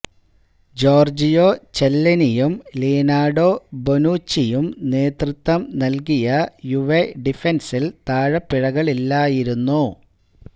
Giorgio ചെല്ലെനിയും Leonardo ബൊനുചിയും നേതൃത്വം നല്കിയ യുവെ ഡിഫന്സില് താളപ്പിഴകളില്ലായിരുന്നു